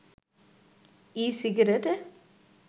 ই-সিগারেটে